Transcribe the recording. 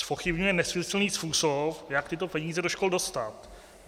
Zpochybňuje nesmyslný způsob, jak tyto peníze do škol dostat.